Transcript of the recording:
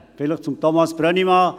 Vielleicht zu Thomas Brönnimann